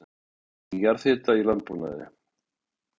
Nýting jarðhita í landbúnaði